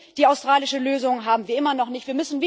Die australische Lösung haben wir immer noch nicht.